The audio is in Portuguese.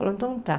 Falou, então tá.